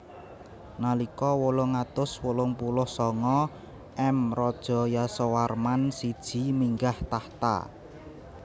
Nalika wolung atus wolung puluh sanga M Raja Yasowarman siji minggah takhta